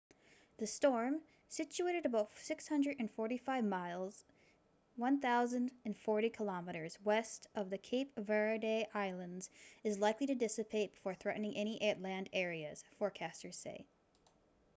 the storm situated about 645 miles 1040 km west of the cape verde islands is likely to dissipate before threatening any land areas forecasters say